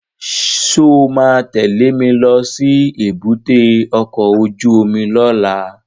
Sọ ma tẹ́lẹ̀ mi lọ sí èbúté ọkọ̀ óju omi lọ́la?